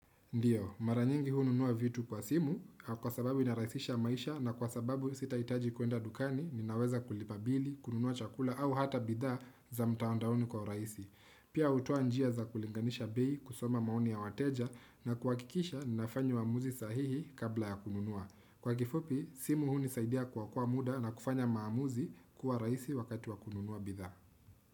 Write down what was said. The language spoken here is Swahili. Ndiyo, mara nyingi hununua vitu kwa simu, kwa sababu inaraisisha maisha na kwa sababu sitaitaji kuenda dukani, ninaweza kulipa bili, kununua chakula au hata bidhaa za mtandaoni kwa uraisi. Pia hutoa njia za kulinganisha bei kusoma maoni ya wateja na kuhakikisha ninafanya uamuzi sahihi kabla ya kununua. Kwa kifupi, simu hu unisaidia kuokoa muda na kufanya maamuzi kuwa rahisi wakati wa kununua bidhaa.